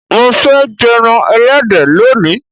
Mo fé̩ je̩ran e̩lé̩dẹ̀ lónìí.